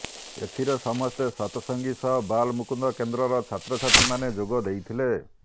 ଏଥିରେ ସମସ୍ତେ ସତସଙ୍ଗୀ ସହ ବାଲମୁକୁନ୍ଦ କେନ୍ଦ୍ରର ଛାତ୍ରଛାତ୍ରୀମାନେ ଯୋଗ ଦେଇଥିଲେ